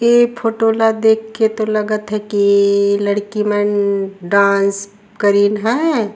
ए photo ल देख के तो लगत हे की ए लड़की मन डांस करिन है।